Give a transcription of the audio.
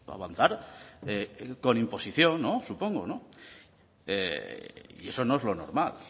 avanzar con imposición no supongo y eso no es lo normal